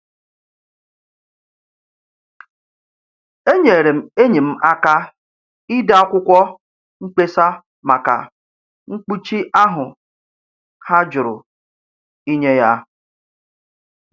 Enyere m enyi m aka ide akwụkwọ mkpesa maka mkpuchi ahụ ha jụrụ inye ya.